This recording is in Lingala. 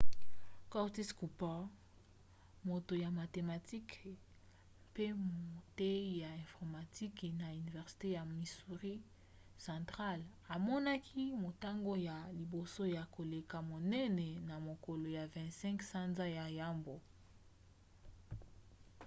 curtis cooper moto ya mathematike mpe moteyi ya informatique na université ya missouri central amonaki motango ya liboso ya koleka monene na mokolo ya 25 sanza ya yambo